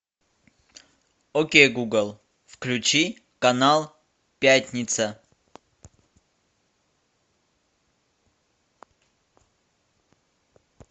окей гугл включи канал пятница